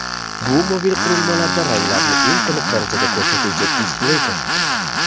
Bu mobil qurilmalarda ranglarni eng tiniq darajada ko‘rsatuvchi displeydir.